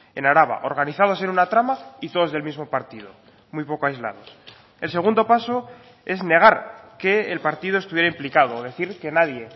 en araba organizados en una trama y todos del mismo partido muy poco aislados el segundo paso es negar que el partido estuviera implicado decir que nadie